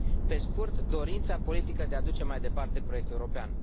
Pe scurt, dorința politică de a duce mai departe proiectul european.